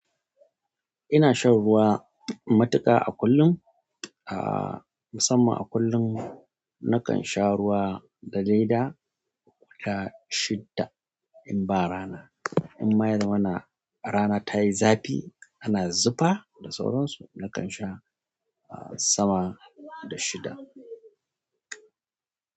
Ina shan ruwa matuƙa a kullum, ah, musamman a kullum nakan sha ruwa na leda guda shidda in ba rana. In ma yazamana rana ta yi zafi ana zufa da sauron su, nakan sha sama da shidda.